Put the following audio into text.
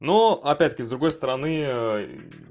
ну опять таки с другой стороны